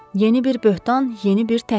Yeni bir böhtan, yeni bir təhqir.